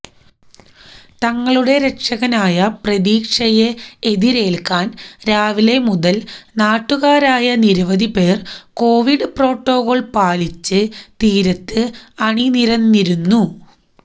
തങ്ങളുടെ രക്ഷകനായ പ്രതീക്ഷയെ എതിരേൽക്കാൻ രാവിലെ മുതൽ നാട്ടുകാരായ നിരവധിപേർ കൊവിഡ് പ്രോട്ടക്കോൾ പാലിച്ച് തീരത്ത് അണിനിരന്നിരുന്നു